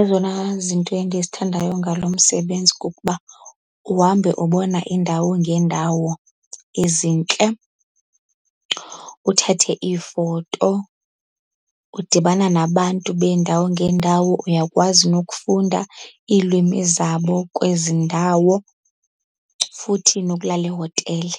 Ezona zinto endizithandayo ngalo msebenzi kukuba uhambe ubona iindawo ngeendawo ezintle, uthathe iifoto, udibana nabantu beendawo ngeendawo uyakwazi nokufunda iilwimi zabo kwezi ndawo. Futhi nokulala ehotele,